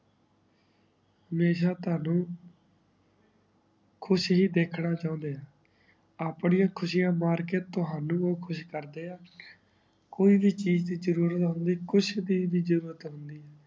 ਹਮੇਸ਼ਾ ਤੋਹਾਨੂ ਖੁਸ਼ ਹੀ ਦੇਖਣਾ ਚੋਂਦੇ ਹਨ ਅਪ੍ਨਿਯਾ ਖ਼ੁਸ਼ਿਯਾ ਮਾਰ ਕੇ ਤਾਵਾਨੁ ਊ ਕੁਛ ਕਰ ਦੇ ਆ ਕੋਈ ਵੀ ਚੀਜ਼ ਦੀ ਜਰੂਰਤ ਹੋਂਦੀ ਕੁਛ ਦੀ ਜਰੂਰਤ ਹੁੰਦੀ